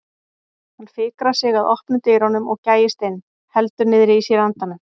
Hann fikrar sig að opnum dyrunum og gægist inn, heldur niðri í sér andanum.